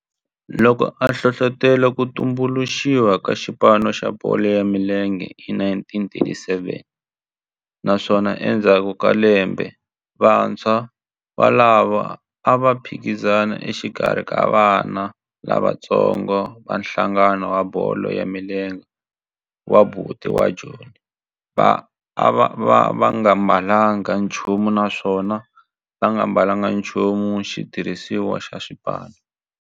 loko a hlohlotela ku tumbuluxiwa ka xipano xa bolo ya milenge hi 1937 naswona endzhaku ka lembe vantshwa volavo a va phikizana exikarhi ka vana lavatsongo va nhlangano wa bolo ya milenge wa Bantu wa Joni va nga ambalanga nchumu naswona va nga ambalanga nchumu xitirhisiwa xa xipano.